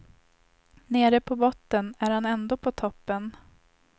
Nere på botten är han ändå på toppen.